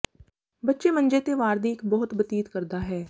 ਬੱਚੇ ਮੰਜੇ ਤੇ ਵਾਰ ਦੀ ਇੱਕ ਬਹੁਤ ਬਤੀਤ ਕਰਦਾ ਹੈ